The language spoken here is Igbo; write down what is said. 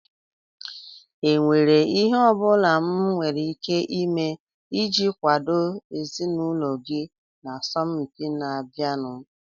Ọ nwèrè ihe ọ bụla m nwere ike ime iji kwàdo ezinụlọ gị na asọmpi na-abịanụ?